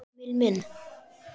Emil minn.